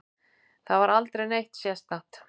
Það var aldrei neitt sérstakt.